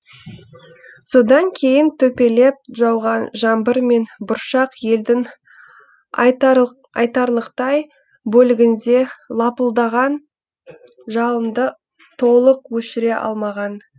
содан кейін төпелеп жауған жаңбыр мен бұршақ елдің айтарлықтай бөлігінде лапылдаған жалынды толық өшіре алмаған